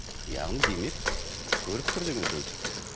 яғни демек көріп тұр деген сөз